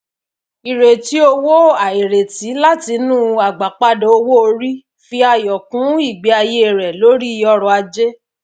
ìrètí owó àìrètí látinú agbápada owó orí fi ayọ kún igbeàyé rẹ lórí ọrọ ajé